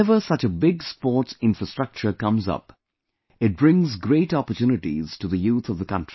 Whenever such a big sports infrastructure comes up, it brings great opportunities to the youth of the country